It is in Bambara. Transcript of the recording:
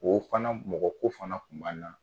O fana mɔgɔko fana tun b'an na